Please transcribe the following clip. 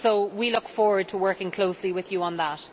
We look forward to working closely with you on that.